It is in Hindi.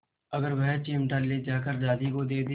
अगर वह चिमटा ले जाकर दादी को दे दे